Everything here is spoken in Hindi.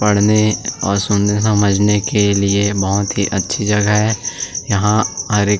पढ़ने और सुनने समझने के लिए बहुत ही अच्छी जगह है यहाँ और एक --